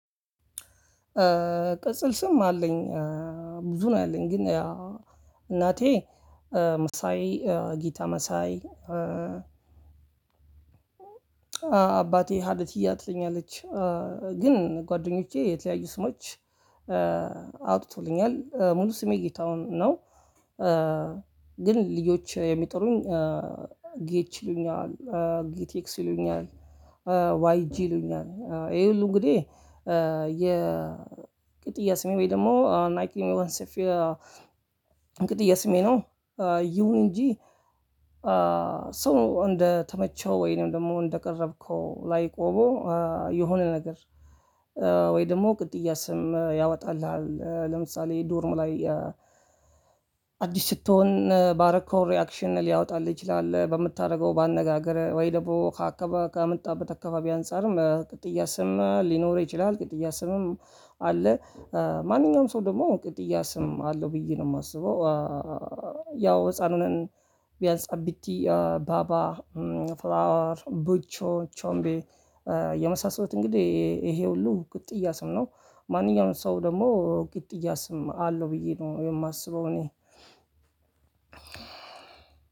ቅጽል ስም አለኝ። ብዙ ነው ያለኝ ግን እናቴ መሳይ ጌታ መሳይ። አባቴ ሀለትያ ትለኛለች። ግን ጓደኞቼ የተለያዩ ስሞች። አውጥቶልኛል ሙሉ ስሜ ጌታሁን ነው። ግን ልጆች የሚጠሩኝ ጌች ይሉኛል ጌቲክስ ይሉኛል። ዋይጂ ይሉኛል ይሄ ሁሉ እንግዲህ የ ቅጥያ ስሜ ወይ ደግሞ ናይኪንስ የ ቅጥያ ስሜ ነው። ይሁን እንጂ ሰው እንደተመቸው ወይንም ደግሞ እንደቀረብከው ላይ ቆመው የሆነ ነገር። ወይ ደግሞ ቅጥያ ስም ያወጣልሃል ለምሳሌ ዶርም ላይ። አዲስ ስትሆን ባረከው ሪኣክሽን ሊያወጣልህ ይችላል። በምታደርገው በአነጋገር ወይ ደግሞ ካከበ ከመጣህበት አካባቢ አንፃርም ቅጥያ ስም ሊኖር ይችላል። ቅጥያ ስምም አለ። ማንኛውም ሰው ደግሞ ቅጥያ ስም አለው ብዬ ነው የማስበው። ያው ህፃኑን ቢያንስ አቢቲ ባባ ፍላወር ቡቾ ቾምቤ የመሳሰሉት እንግዲህ ይሄ ሁሉ ቅጥያ ስም ነው። ማንኛውንም ሰው ደግሞ ቅጥያ ስም አለው ብዬ ነው የማስበው እኔ